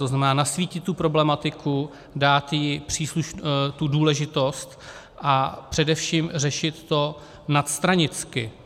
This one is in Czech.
To znamená nasvítit tu problematiku, dát jí tu důležitost a především řešit to nadstranicky.